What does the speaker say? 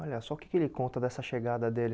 Olha, só o que que ele conta dessa chegada dele?